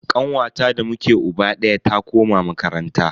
Kanwata da muke uba daya ta koma makaranta.